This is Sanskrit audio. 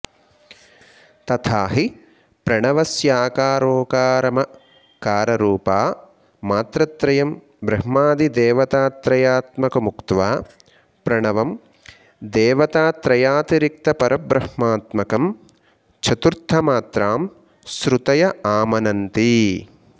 तथाहि प्रणवस्याकारोकारमकाररूपमात्रात्रयं ब्रह्मादिदेवतात्रयात्मकमुक्त्वा प्रणवं देवतात्रयातिरिक्तपरब्रह्मात्मकं चतुर्थमात्रां श्रुतय आमनन्ति